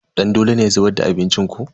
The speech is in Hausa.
Dandolo ne ya zubar da abincin ko?